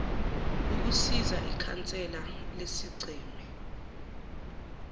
ukusiza ikhansela lesigceme